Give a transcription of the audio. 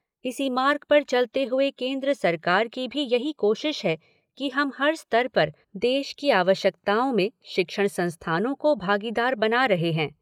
इसी मार्ग पर चलते हुए केंद्र सरकार की भी यही कोशिश है कि हम हर स्तर पर देश की आवश्यकताओं में शिक्षण संस्थानों को भागीदार बना रहे हैं।